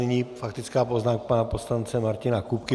Nyní faktická poznámka pana poslance Martina Kupky.